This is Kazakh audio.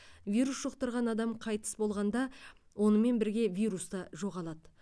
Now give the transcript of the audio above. вирус жұқтырған адам қайтыс болғанда онымен бірге вирус та жоғалады